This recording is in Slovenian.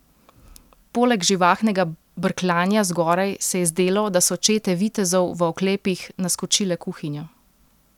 Poleg živahnega brkljanja zgoraj se je zdelo, da so čete vitezov v oklepih naskočile kuhinjo.